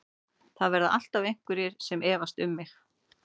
Það verða alltaf einhverjir sem efast um mig.